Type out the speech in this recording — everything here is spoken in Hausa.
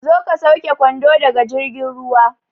Zo ka sauke kwando daga jirgin ruwa